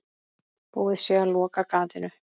Búið sé að loka gatinu.